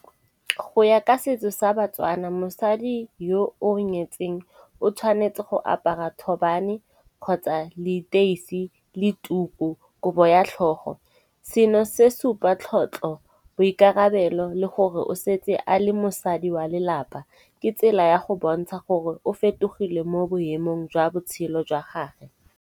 Go ya ka setso sa batswana mosadi yo o nyetseng, o tshwanetse go apara thobane kgotsa leteisi le tuku, kobo ya tlhogo. Seno se supa tlhotlho, boikarabelo le gore o setse a le mosadi wa lelapa. Ke tsela ya go bontsha gore o fetogile mo boemong jwa botshelo jwa gagwe.